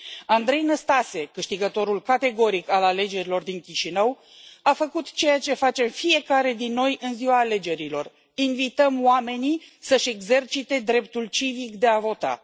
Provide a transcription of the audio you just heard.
Andrei Năstase, câștigătorul categoric al alegerilor din Chișinău, a făcut ceea ce face fiecare dintre noi în ziua alegerilor invităm oamenii să își exercite dreptul civic de a vota.